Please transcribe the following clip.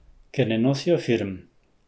Ker ne nosijo firm.